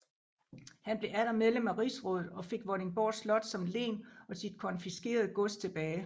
Han blev atter medlem af rigsrådet og fik Vordingborg Slot som len og sit konfiskerede gods tilbage